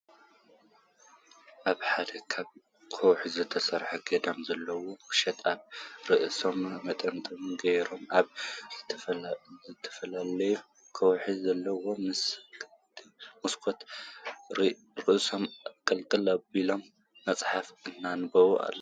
ኣብ ሓደ ካብ ከውሒ ዝተፈልፈለ ገዳም ዘለው ቀሺ ኣብ ርእሶም መጠምጠሚያ ገይሮም ኣብ ዝተፈልፈለ ከውሒ ዘሎ መስኮት ርእሶም ኣቅልቅል ኣቢሎም መፅሓፍ እናኣንበቡ ኣለወ፡፡